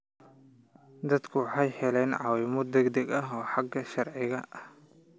Dadku waxay helaan caawimo degdeg ah oo xagga sharciga ah.